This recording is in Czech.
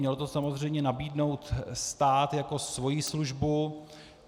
Měl to samozřejmě nabídnout stát jako svoji službu.